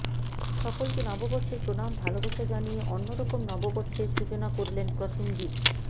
সকলকে নববর্ষের প্রণাম ভালবাসা জানিয়ে অন্যরকম নববর্ষের সূচনা করলেন প্রসেনজিত